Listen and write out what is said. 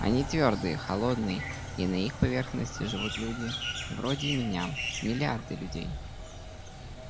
они твёрдые холодные и на их поверхности живут люди вроде меня миллиарды людей